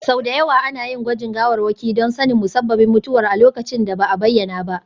Sau da yawa ana yin gwajin gawarwaki don sanin musabbabin mutuwar a lokacin da ba a bayyana ba.